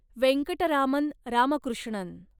Venkataraman Ramakrishnan